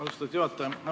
Austatud juhataja!